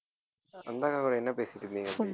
அந்த அக்காகூட என்ன பேசிட்டு இருந்தீங்க அப்படி